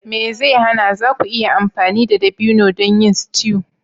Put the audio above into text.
Me zai hana! za ku iya amfani da dabino don yin stew